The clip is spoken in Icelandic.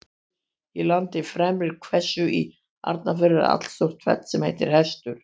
Í landi Fremri-Hvestu í Arnarfirði er allstórt fell sem heitir Hestur.